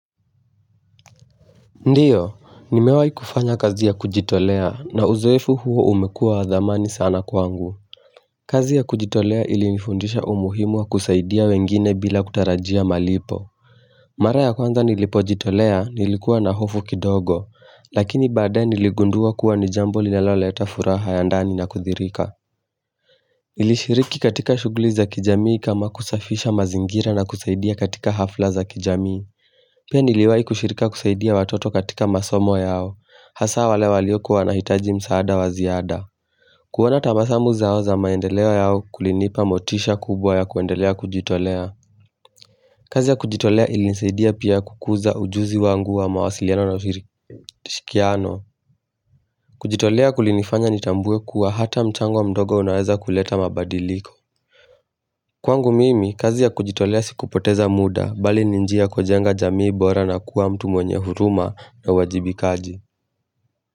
Ndio, nimewahi kufanya kazi ya kujitolea na uzoefu huo umekuwa wa dhamani sana kwangu. Kazi ya kujitolea ilinifundisha umuhimu wa kusaidia wengine bila kutarajia malipo. Mara ya kwanza nilipojitolea nilikuwa na hofu kidogo, lakini badaaye niligundua kuwa ni jambo linaloleta furaha ya ndani na kuthirika. Nilishiriki katika shughuli za kijamii kama kusafisha mazingira na kusaidia katika hafla za kijamii. Pia niliwahi kushirika kusaidia watoto katika masomo yao. Hasa wale walioko wanahitaji msaada wa ziada. Kuona tabasamu zao za maendeleo yao kulinipa motisha kubwa ya kuendelea kujitolea kazi ya kujitolea ilinisaidia pia kukuza ujuzi wangu wa mawasiliano na ushirikiano kujitolea kulinifanya nitambue kuwa hata mchango mdogo unaweza kuleta mabadiliko Kwangu mimi, kazi ya kujitolea si kupoteza muda, Bali ni njia ya kujenga jamii bora na kuwa mtu mwenye huruma na uwajibikaji.